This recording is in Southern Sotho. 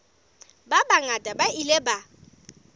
ba bangata ba ile ba